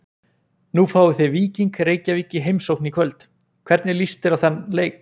Nú fáið þið Víking Reykjavík í heimsókn í kvöld, hvernig list þér á þann leik?